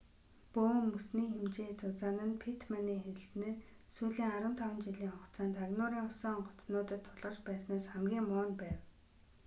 бөөн мөсний хэмжээ зузаан нь питтманы хэлснээр сүүлийн 15 жилийн хугацаанд агнуурын усан онгоцнуудад тулгарч байснаас хамгийн муу байв